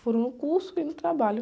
Foram no curso e no trabalho.